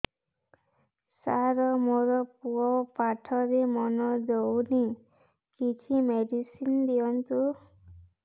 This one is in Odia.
ସାର ମୋର ପୁଅ ପାଠରେ ମନ ଦଉନି କିଛି ମେଡିସିନ ଦିଅନ୍ତୁ